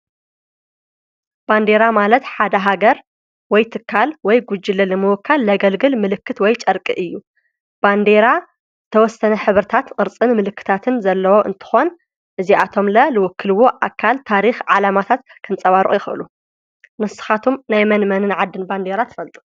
ባንዴራ ማለት ሓደ ሃገር ወይ ትካል ወይ ጕጅለ ልምወካል ለገልግል ምልክት ወይ ጨርቂ እዩ ።ባንዴራ ዝተወሰነ ኅብርታት ቕርፅን ምልክታትን ዘለወ እንትኾን እዚኣቶምለ ልውክልዎ ኣካል ታሪኽ ዓላማታት ከንጸባርቕ ይኽእሉ ።ንስኻቶም ናይ መን መንን ዓድን ባንዴይራ ትፈልጡ?